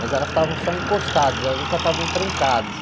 Mas elas estavam só encostadas, elas nunca estavam trancadas.